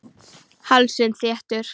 Hálsinn þéttur.